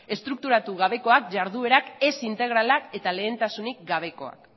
estrukturatu gabekoak iharduerak ez integralak eta lehentasunik gabekoak